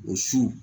O su